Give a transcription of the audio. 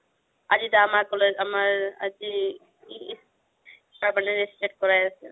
কৰাই আছে